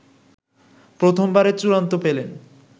প্রথমবারের চূড়ান্ত পেলেন